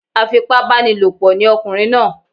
Afipábánilòpọ̀ ni ọkùnrin náà